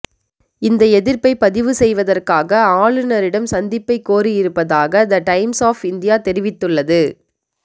இந்த எதிர்ப்பை பதிவு செய்வதற்காக ஆளுனரிடம் சந்திப்பை கோரி இருப்பதாக த டைம்ஸ் ஒப் இந்தியா தெரிவித்துள்ளது